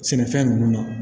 Sɛnɛfɛn ninnu na